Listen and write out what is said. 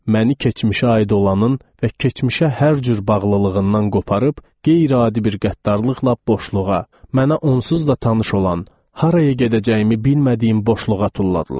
Məni keçmişə aid olanın və keçmişə hər cür bağlılığından qoparıb, qeyri-adi bir qəddarlıqla boşluğa, mənə onsuz da tanış olan, haraya gedəcəyimi bilmədiyim boşluğa tulladılar.